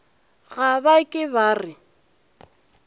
ga ba ke ba re